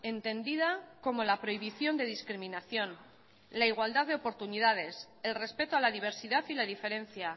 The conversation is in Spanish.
entendida como la prohibición de discriminación la igualdad de oportunidades el respeto a la diversidad y la diferencia